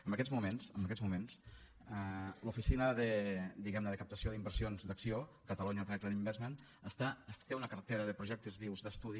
en aquests moments en aquests moments l’oficina de diguem ne captació d’inversions d’acció catalonia trade investment té una cartera de projectes vius d’estudi